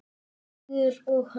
Hugur og hönd.